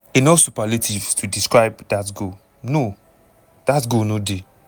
enough superlatives to describe dat goal no dat goal no dey.